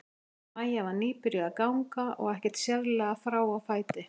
Maja var nýbyrjuð að ganga og ekkert sérlega frá á fæti.